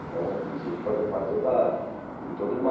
Então isso fazia parte toda, de toda uma...